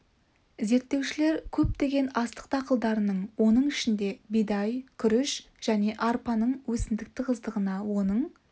зерттеушілер көптеген астық дақылдарының оның ішінде бидай күріш және арпаның өсімдік тығыздығына оның